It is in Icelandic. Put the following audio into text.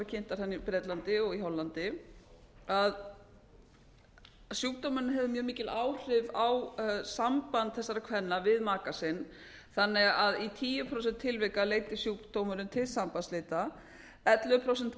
kynntar þarna í bretlandi og í hollandi að sjúkdómurinn hefur mjög mikil áhrif á samband þessara kvenna við maka sinn þannig að í tíu prósent tilvika leiddi sjúkdómurinn til sambandsslita ellefu prósent